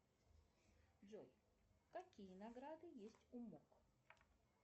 джой какие награды есть у мок